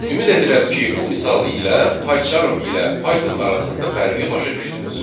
Ümid edirəm ki, bu misal ilə PyCharm ilə Python arasında fərqi başa düşdünüz.